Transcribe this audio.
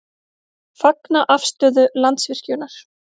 Fagna afstöðu Landsvirkjunar